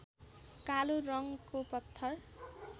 कालो रङको पत्थर